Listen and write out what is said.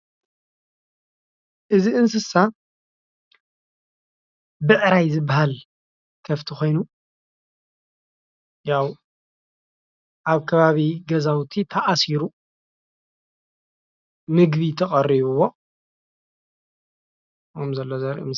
እዚ እንስሳ ብዕራይ ዝበሃል ኸፍቲ ኮይኑ ያው ኣብ ከባቢ ገዛውቲ ተኣሲሩ ምግቢ ተቀሪብዎ ከም ዝሎ ዘርኢ ምስሊ እዩ።